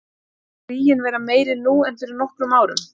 Telur þú ríginn vera meiri nú en fyrir nokkrum árum?